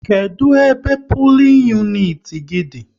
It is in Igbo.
Kedụ ebe pulin uniti gị dị?